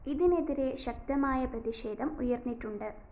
ഇതിനെതിരെ ശക്തമായ പ്രതിഷേധം ഉയര്‍ന്നിട്ടുണ്ട്